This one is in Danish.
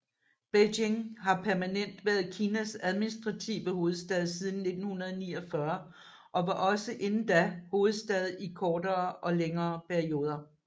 Beijing har permanent været Kinas administrative hovedstad siden 1949 og var også inden da hovedstad i kortere og længere perioder